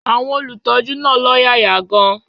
Àwọn olùtọ́jú náà lọ́yàyà gan-an.